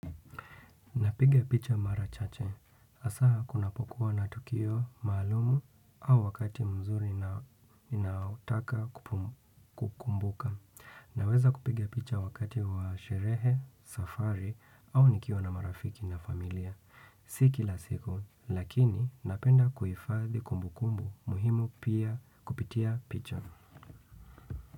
Napiga picha mara chache. Hasa kunapokuwa na tukio maalumu au wakati mzuri ninayotaka kukumbuka. Naweza kupiga picha wakati wa sherehe, safari au nikiwa na marafiki na familia. Si kila siku, lakini napenda kuhifadhi kumbu kumbu muhimu pia kupitia picha.